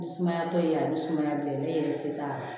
Ni sumaya tɛ a bɛ sumaya bila ne yɛrɛ se t'a la